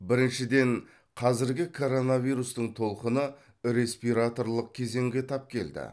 біріншіден қазіргі коронавирустың толқыны респираторлық кезеңге тап келді